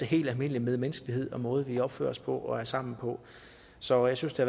helt almindelig medmenneskelighed og den måde vi opfører os på og er sammen på så jeg synes det